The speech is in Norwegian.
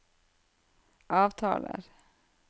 avtaler